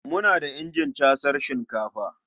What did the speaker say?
Muna da injin casar shinkafa.